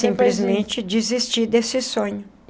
Simplesmente desisti desse sonho.